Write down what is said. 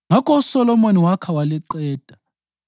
Ngakho uSolomoni wakha ithempeli waliqeda.